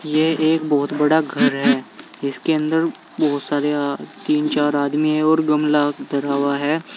ये एक बहुत बड़ा घर है जिसके अंदर बहुत सारे अ तीन चार आदमी हैं और गमला धरा हुआ है।